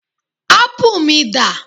ápù mi dà